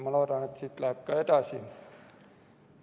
Ma loodan, et siit läheb ka edasi.